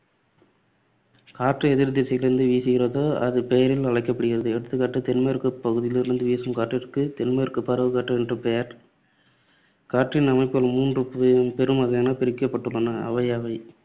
காற்று எதிர் திசையிலிருந்து வீசுகிறதோ அது பெயரில் அழைக்கப்படுகிறது. எடுத்துக்காட்டு தென்மேற்குப் பகுதியிலிருந்து வீசும் காற்றிற்கு தென்மேற்குப் பருவக்காற்று என்று பெயர். காற்றின் அமைப்புகள் மூன்று பெரும் வகைகளாகப் பிரிக்கப்பட்டுள்ளன. அவையவை